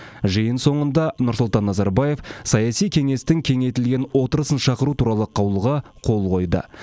жиын соңында нұрсұлтан назарбаев саяси кеңестің кеңейтілген отырысын шақыру туралы қаулыға қол қойды